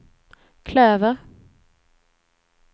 klöver